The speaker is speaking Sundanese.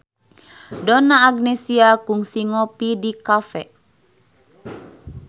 Donna Agnesia kungsi ngopi di cafe